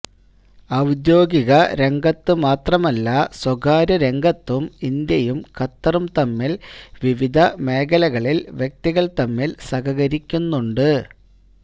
ഔദ്യോഗിക രംഗത്ത് മാത്രമല്ല സ്വകാര്യരംഗത്തും ഇന്ത്യയും ഖത്തറും തമ്മില് വിവിധ മേഖലകളില് വ്യക്തികള് തമ്മില് സഹകരിക്കുന്നുണ്ട്